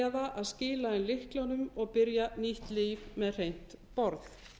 eða að skila inn lyklunum og byrja nýtt líf með hreint borð